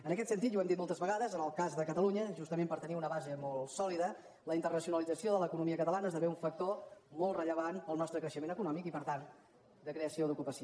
en aquest sentit i ho hem dit moltes vegades en el cas de catalunya justament per tenir una base molt sòlida la internacionalització de l’economia catalana esde vé un factor molt rellevant per al nostre creixement econòmic i per tant de creació d’ocupació